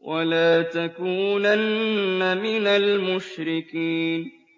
وَلَا تَكُونَنَّ مِنَ الْمُشْرِكِينَ